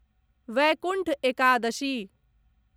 Vaikuntha Ekadashi